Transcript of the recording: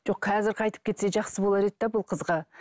жоқ қазір қайтып кетсе жақсы болар еді де бұл қызға